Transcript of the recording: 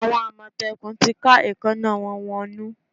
Àwọn àmọ̀tẹ́kùn ti ká èékáná wọn wọnnú.